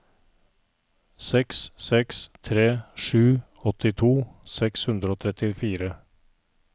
seks seks tre sju åttito seks hundre og trettifire